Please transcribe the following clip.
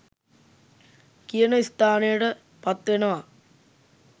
කියන ස්ථානයට පත් වෙනවා.